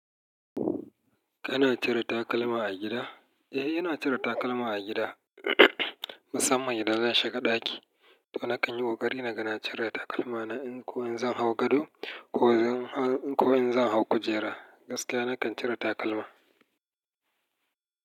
Kana cire takalma a gida? Eh, ina cire takalma a gida. Musamman idan zan shiga ɗaki to nakan yi ƙoƙari na ga na cire takalma na in ko in zan hau gado ko in zan hau kujera. Gaskiya nakan cire takalma.